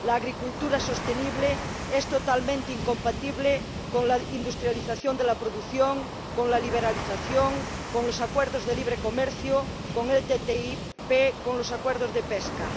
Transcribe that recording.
La agricultura sostenible es totalmente incompatible con la industrialización de la producción, con la liberalización, con los acuerdos de libre comercio, con la ATCI, con los acuerdos de pesca.